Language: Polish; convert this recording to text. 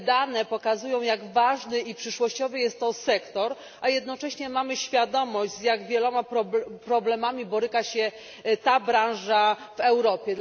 Dane te pokazują, jak ważny i przyszłościowy jest to sektor, a jednocześnie mamy świadomość, z jak wieloma problemami boryka się ta branża w Europie.